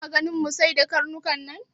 Kuna ganin mu sayar da karnukan nan?